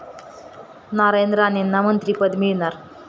नारायण राणेंना मंत्रिपद मिळणार?